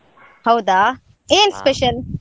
ಹೌದಾ, ಏನ್ special ?